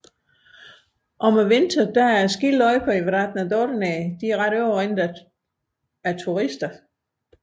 Om vinteren er skiløjperne i Vatra Dornei overrendt af turister